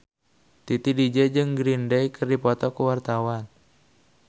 Titi DJ jeung Green Day keur dipoto ku wartawan